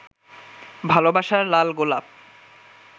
ভালবাসার লাল গোলাপ